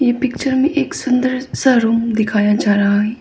Picture में एक सुंदर सा रूम दिखाया जा रहा है।